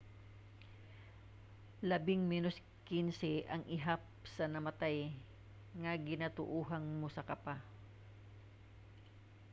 labing menos 15 ang ihap sa namatay nga ginatuohang mosaka pa